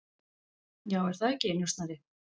Já, er það ekki, njósnari?